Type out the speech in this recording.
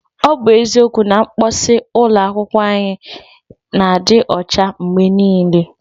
Ọ bụ eziokwu na mposi ụlọ akwụkwọ anyị na-adị ụcha mgbe niile.